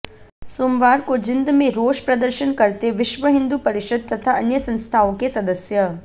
सोमवार को जींद में रोष प्रदर्शन करते विश्व हिन्दू परिषद तथा अन्य संस्थाओं के सदस्य